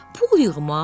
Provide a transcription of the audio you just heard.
Pul yığmaq?